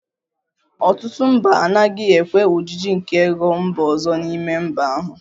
Ọtụtụ mba anaghị ekwe ojiji nke ego mba ọzọ n'ime mba ahụ